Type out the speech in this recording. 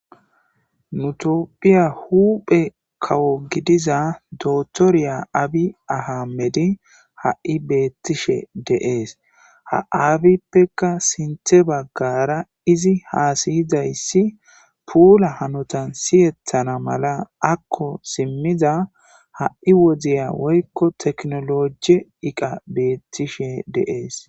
Nu toophphiya huuphe kawo gidiza toottoriya abiy ahimedey ha7i beettishe de7es. Ha abiyippeka sinththe baggara izi haasizayssi puula hanotan siyetana mala akko simmida ha7i wodiya woykko tekinolooje iqay beettishe de7ees.